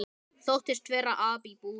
Þóttist vera api í búri.